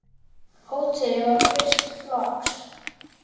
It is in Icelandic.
Hótelið var fyrsta flokks.